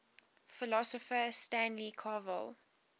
philosopher stanley cavell